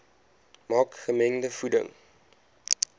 maak gemengde voeding